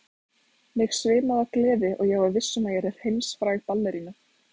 Mig svimaði af gleði og ég var viss um að ég yrði heimsfræg ballerína.